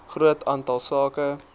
groot aantal sake